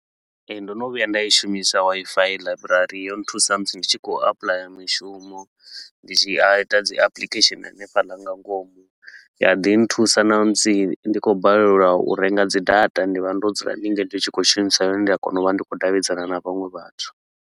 Ee, ndo no vhuya nda i shumisa Wi-Fi ḽaiburari, yo nthusa musi ndi tshi khou applyer mishumo. Ndi tshi a ita dzi application hanefhaḽa nga ngomu, ya ḓi nthusa namusi ndi khou balelwa u renga dzi data ndi vha ndo dzula ndi tshi khou shumisa yone, ndi a kona u vha ndi khou davhidzana na vhaṅwe vhathu.